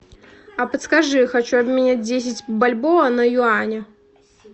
а подскажи хочу обменять десять бальбоа на юани